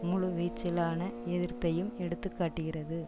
முழு வீச்சிலான எதிர்ப்பையும் எடுத்து காட்டுகிறது